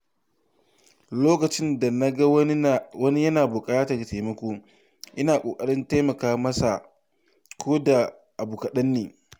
Lokacin da na ga wani yana buƙatar taimako, ina ƙoƙarin taimaka masa ko da da abu kaɗanne.